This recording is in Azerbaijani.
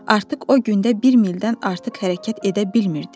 Artıq o gündə bir mildən artıq hərəkət edə bilmirdi.